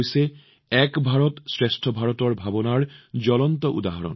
এয়া হৈছে এক ভাৰত শ্ৰেষ্ঠ ভাৰতৰ আত্মাৰ এক জীৱন্ত উদাহৰণ